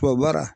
Tubabu baara